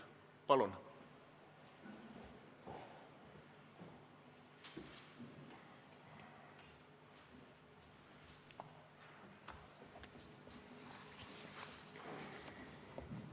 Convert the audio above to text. Palun!